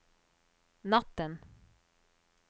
natten